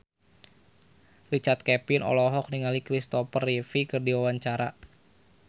Richard Kevin olohok ningali Kristopher Reeve keur diwawancara